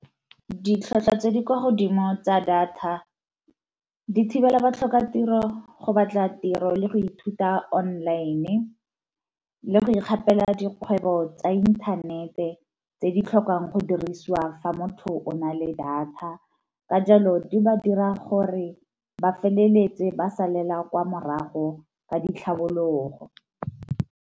Ditlhwatlhwa tse di kwa godimo tsa data di thibela ba tlhoka tiro go batla tiro le go ithuta online, le go ikgapela dikgwebo tsa inthanete tse di tlhokang go dirisiwa fa motho o na le data, ka jalo di ba dira gore ba feleletse ba sa lela kwa morago ka ditlhabologo.